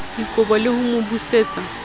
dikobo le ho mo busetsa